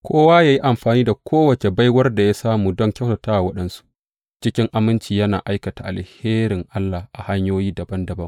Kowa yă yi amfani da kowace baiwar da ya samu don kyautata wa waɗansu, cikin aminci yana aikata alherin Allah a hanyoyi dabam dabam.